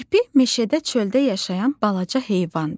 Kirpi meşədə çöldə yaşayan balaca heyvandır.